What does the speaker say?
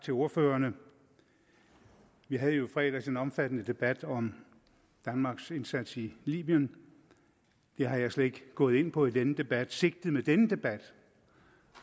til ordførerne vi havde jo i fredags en omfattende debat om danmarks indsats i libyen det er jeg slet ikke gået ind på i denne debat sigtet med denne debat